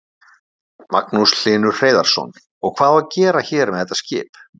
Magnús Hlynur Hreiðarsson: Og hvað á að gera hér með þetta skip?